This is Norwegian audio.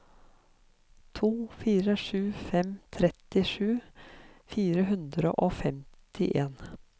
to fire sju fem trettisju fire hundre og femtien